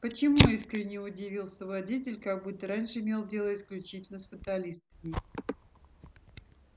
почему искренне удивился водитель как будто раньше имел дело исключительно с фаталистами